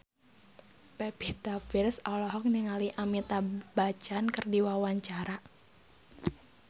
Pevita Pearce olohok ningali Amitabh Bachchan keur diwawancara